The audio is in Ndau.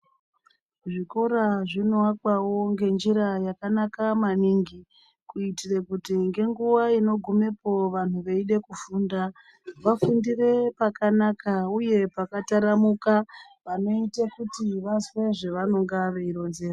Zvikora zvinovakwawo ngenjira yakanaka maningi kuitire kuti ngenguva inogumepo vanhu veida kufunda, vafundire pakanaka uye pakataramuka panoite kuti vazwe zvavanenge veironzerwa.